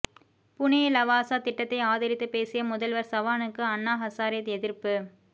புனே லவாசா திட்டத்தை ஆதரித்து பேசிய முதல்வர் சவானுக்கு அன்னா ஹசாரே எதிர்ப்பு